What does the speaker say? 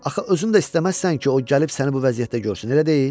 Axı özün də istəməzsən ki, o gəlib səni bu vəziyyətdə görsün, elə deyil?